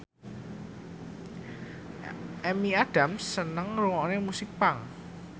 Amy Adams seneng ngrungokne musik punk